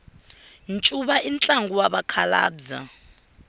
ncuva i ntlangu wa vakhalabya